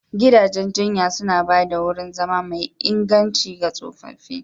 Gidajen jinya suna ba da wurin zama mai inganci ga tsofaffi.